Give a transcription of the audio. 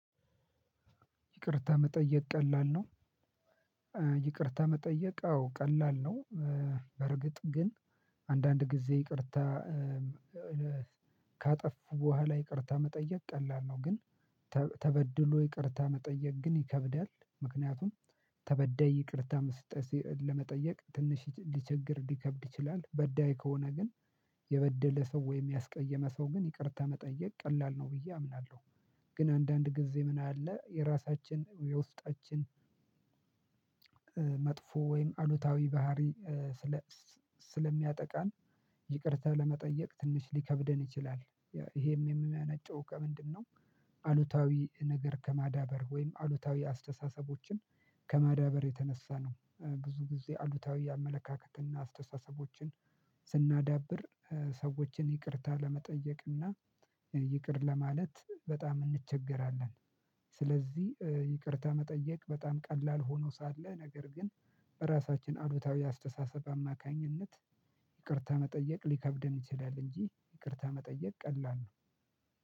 ይቅርታ መጠየቅ ቀላል ነው። ይቅርታ መጠየቅ አዎ ቀላል ነው። በርግጥ ግን አንዳንድ ጊዜ ይቅርታ ካጠፉ በኋላ ይቅርታ መጠየቅ ቀላል ነው ግን ተበድሎ ይቅርታ መጠየቅ ግን ይከብዳል ምክንያቱም ተበደይ ይቅርታ መስጠት ለመጠየቅ ትንሽ ሊቸግር ሊከብድ ይችላል። በዳይ ከሆነ ግን የበደለ ሰው ወይም ያስቀየመ ሰው ግን ይቅርታ መጠየቅ ቀላል ነው ብዬ አምናለሁ። ግን አንዳንድ ጊዜ ምን አለ የራሳችን የውስጣችን መጥፎ ወይም አሉታዊ ባህሪ ስለሚያጠቃን ይቅርታ ለመጠየቅ ትንሽ ሊከብደን ይችላል ይሄም የሚመነጨው ከምንድነው አሉታዊ ነገር ከማዳበር ወይም አሉታዊ አስተሳሰቦችን ከማዳበር የተነሳ ነው። ብዙ ጊዜ አሉታዊ አመለካከትና አስተሳሰቦችን ስናዳብር ሰዎችን ይቅርታ ለመጠየቅ እና ይቅር ለማለት በጣም እንቸገራለን ስለዚህ ይቅርታ መጠየቅ በጣም ቀላል ሆኖ ሳለ ነገር ግን በራሳችን አሉታዊ አስተሳሰብ አማካኝነት ይቅርታ መጠየቅ ሊከብድም ይችላል እንጂ ይቅርታ መጠየቅ ቀላል ነው።